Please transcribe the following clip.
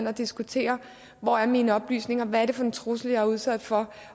at diskutere hvor er mine oplysninger hvad er det for en trussel jeg er udsat for